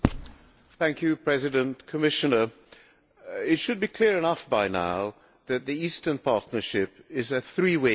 Madam President, Commissioner, it should be clear enough by now that the Eastern Partnership is a three way contest.